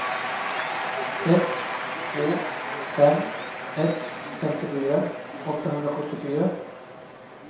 sex två fem ett femtiofyra åttahundrasjuttiofyra